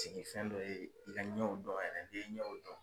Sigifɛn dɔ ye i ka ɲɛw dɔn yɛrɛ n'i ye ɲɛw dɔn.